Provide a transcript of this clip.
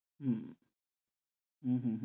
হম হম হম